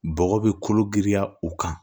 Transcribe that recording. Bɔgɔ bɛ kolo giriya u kan